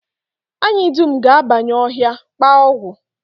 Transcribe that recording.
Anyị dum ga-abanye ọhịa, kpaa ọgwụ